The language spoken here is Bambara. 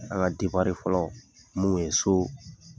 An ka fɔlɔ mun kun ye so